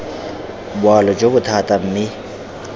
boalo jo bo thata mme